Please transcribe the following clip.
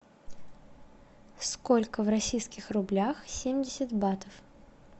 сколько в российских рублях семьдесят батов